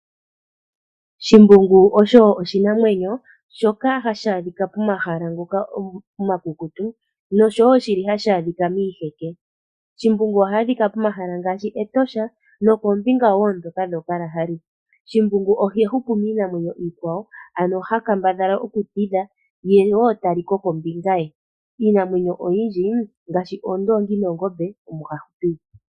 Shimbungu osho oshinamwenyo shoka hashi adhika momahala ngoka omakukutu nosho wo shili hashi adhika miiheke. Shimbungu oha adhika pomahala ngaashi Etosha nokoombinga woo ndhoka dhooKalahari. Shimbungu oha hupu miinamwenyo iikwawo ,ano ha kambadhala oku tidha ye wo taliko ombinga ye. Iinamwenyo oyindji ngaashi oondongi noongombe omo ha hupile.